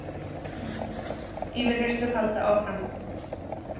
Yfirheyrslur halda áfram